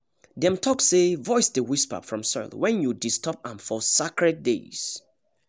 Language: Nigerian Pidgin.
dem talk say voice dey whisper from soil when you disturb am for sacred days